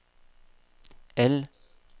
L